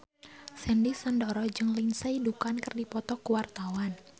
Sandy Sandoro jeung Lindsay Ducan keur dipoto ku wartawan